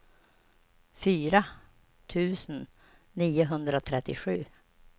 fyra tusen niohundratrettiosju